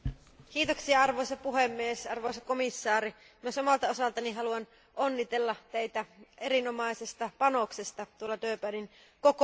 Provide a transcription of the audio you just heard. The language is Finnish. Arvoisa puhemies, arvoisa komissaari, myös omalta osaltani haluan onnitella Teitä erinomaisesta panoksesta Durbanin kokouksessa.